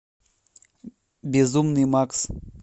безумный макс